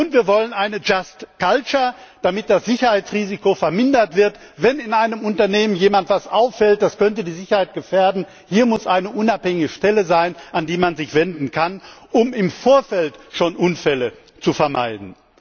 Und wir wollen eine just culture damit das Sicherheitsrisiko vermindert wird, wenn in einem Unternehmen jemand etwas auffällt, das die Sicherheit gefährden könnte. Hier muss es eine unabhängige Stelle geben, an die man sich wenden kann, um im Vorfeld schon Unfälle zu vermeiden.